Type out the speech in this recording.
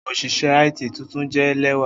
Oṣiṣẹ IT tuntun jẹ lẹwa